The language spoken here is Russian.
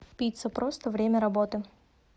пицца просто время работы